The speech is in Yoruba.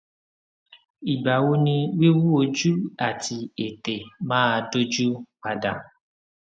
ìgbà wo ni wiwu ojú àti ètè máa dójú pa dà